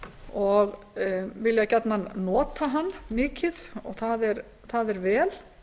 og vilja gjarnan nota hann mikið og það er vel